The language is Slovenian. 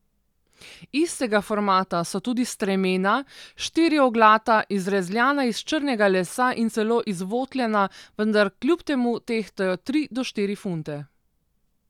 Istega formata so tudi stremena, štirioglata, izrezljana iz črnega lesa in celo izvotljena, vendar kljub temu tehtajo tri do štiri funte.